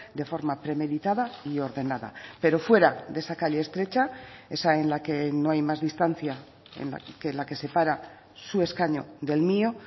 de forma premeditada y ordenada pero fuera de esa calle estrecha esa en la que no hay más distancia que la que separa su escaño del mío